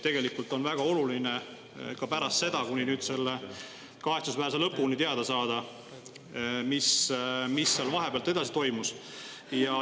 Tegelikult on väga oluline teada saada, mis seal pärast seda kuni nüüd selle kahetsusväärse lõpuni toimus.